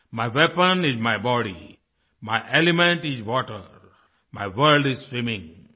my weapon is my body my element is water my world is swimming